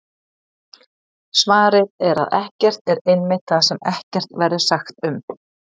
Svarið er að ekkert er einmitt það sem ekkert verður sagt um!